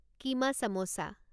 keema samosa